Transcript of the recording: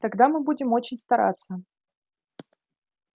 тогда мы будем очень стараться